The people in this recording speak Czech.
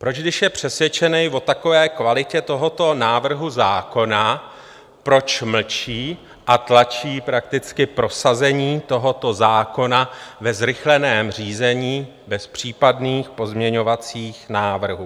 Proč, když je přesvědčen o takové kvalitě tohoto návrhu zákona, proč mlčí a tlačí prakticky prosazení tohoto zákona ve zrychleném řízení bez případných pozměňovacích návrhů?